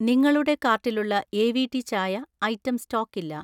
നിങ്ങളുടെ കാർട്ടിലുള്ള എ.വി.ടി. ചായ ഐറ്റം സ്റ്റോക്കില്ല